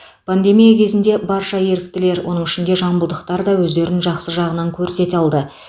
пандемия кезінде барша еріктілер оның ішінде жамбылдықтар да өздерін жақсы жағынан көрсете алды